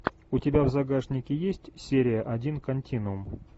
у тебя в загашнике есть серия один континуум